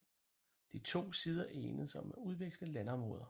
De to sider enedes om at udveksle landområder